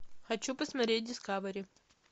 хочу посмотреть дискавери